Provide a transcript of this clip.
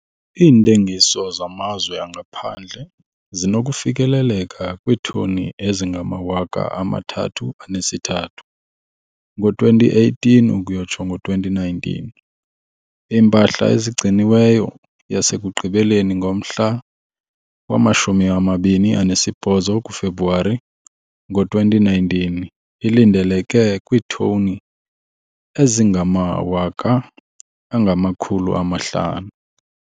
Iintengiso zamazwe angaphandle zinokufikelela kwiitoni ezingama-33 000 ngo-2018 ukuyotsho ngo-2019. Iimpahla ezigciniweyo yasekugqibeleni ngomhla wama-28 kuFebruwari ngo-2019 ilindeleke kwiitoni ezingama-500 000.